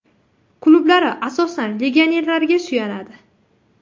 Klublari asosan legionerlarga suyanadi.